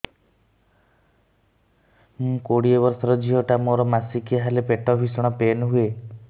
ମୁ କୋଡ଼ିଏ ବର୍ଷର ଝିଅ ଟା ମୋର ମାସିକିଆ ହେଲେ ପେଟ ଭୀଷଣ ପେନ ହୁଏ